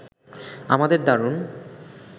আমাদের দারুণ